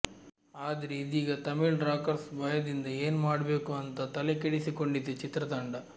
ಆದ್ರೆ ಇದೀಗ ತಮಿಳ್ ರಾಕರ್ಸ್ ಭಯದಿಂದ ಏನ್ ಮಾಡ್ಬೇಕು ಅಂತ ತಲೆ ಕೆಡಿಸಿಕೊಂಡಿದೆ ಚಿತ್ರತಂಡ